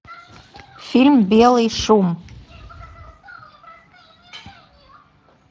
фильм белый шум